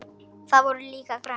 Þau voru líka græn.